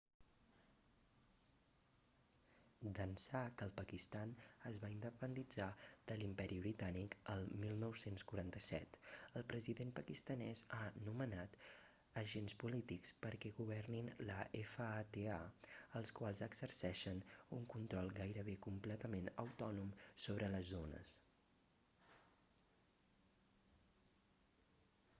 d'ençà que el pakistan es va independitzar de l'imperi britànic el 1947 el president pakistanès ha nomenat agents polítics perquè governin la fata els quals exerceixen un control gairebé completament autònom sobre les zones